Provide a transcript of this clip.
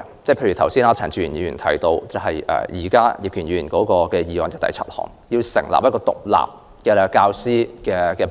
例如，陳志全議員剛才提到，葉建源議員的原議案第七項建議成立一個獨立的教師